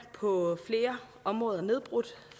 på flere områder nedbrudt